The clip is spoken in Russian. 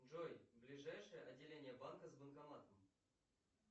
джой ближайшее отделение банка с банкоматом